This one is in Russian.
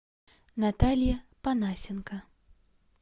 наталья панасенко